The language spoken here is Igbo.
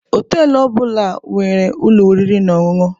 Họtelụ ọ bụla nwere ụlọ oriri na ọṅụṅụ.